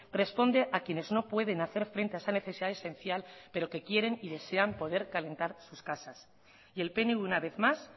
responde a quienes no pueden hacer frente a esa necesidad esencial pero que quieren y desean calentar sus casas y el pnv una vez más